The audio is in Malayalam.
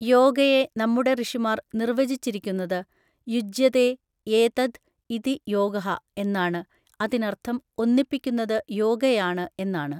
യോഗയെ നമ്മുടെ ഋഷിമാർ നിർവചിച്ചിരിക്കുന്നത് യുജ്യതേ ഏതദ് ഇതി യോഗഃ എന്നാണ്, അതിനർത്ഥം ഒന്നിപ്പിക്കുന്നത് യോഗയാണ് എന്നാണ്.